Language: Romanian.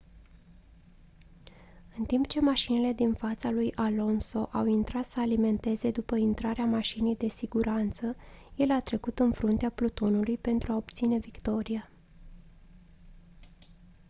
în timp ce mașinile din fața lui alonso au intrat să alimenteze după intrarea mașinii de siguranță el a trecut în fruntea plutonului pentru a obține victoria